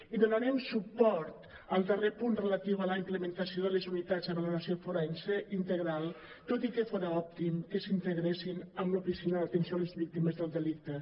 i donarem suport al darrer punt relatiu a la implementació de les unitats de valoració forense integral tot i que fora òptim que s’integressin en l’oficina d’atenció a les víctimes del delicte